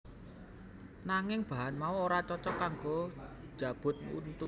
Nanging bahan mau ora cocok kanggo njabut untu